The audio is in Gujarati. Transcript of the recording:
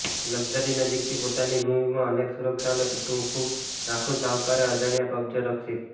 લક્ઝરી નજીકથી પોતાની ભૂમિમાં અનેક સુરક્ષા અને કુટુંબ ખૂબ નાખુશ આવકારે અજાણ્યા કબજો રક્ષિત